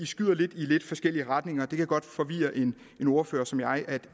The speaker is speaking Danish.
skyder i lidt forskellige retninger og det kan godt forvirre en ordfører som jeg